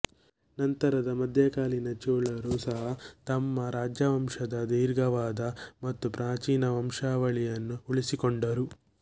ನಂತರದ ಮಧ್ಯಕಾಲೀನ ಚೋಳರು ಸಹ ತಮ್ಮ ರಾಜವಂಶದ ದೀರ್ಘವಾದ ಮತ್ತು ಪ್ರಾಚೀನ ವಂಶಾವಳಿಯನ್ನು ಉಳಿಸಿಕೊಂಡರು